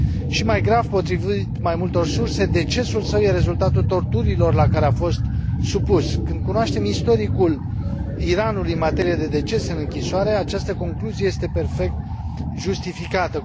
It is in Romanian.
Și mai grav, potrivit mai multor surse, decesul său este rezultatul torturilor la care a fost supus. Când cunoaștem istoricul Iranului în materie de decese în închisoare, această concluzie este perfect justificată.